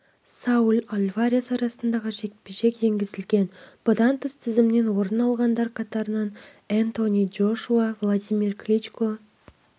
сауль альварес арасындағы жекпе-жек енгізілген бұдан тыс тізімнен орын алғандар қатарында энтони джошуа владимир кличко